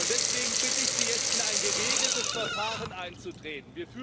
Deswegen bitte ich Sie, jetzt in ein geregeltes Verfahren einzutreten.